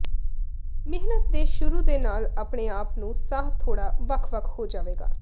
ਮਿਹਨਤ ਦੇ ਸ਼ੁਰੂ ਦੇ ਨਾਲ ਆਪਣੇ ਆਪ ਨੂੰ ਸਾਹ ਥੋੜ੍ਹਾ ਵੱਖ ਵੱਖ ਹੋ ਜਾਵੇਗਾ